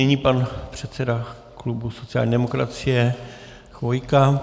Nyní pan předseda klubu sociální demokracie Chvojka.